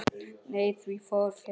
Nei, því fór fjarri.